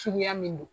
Suguya min don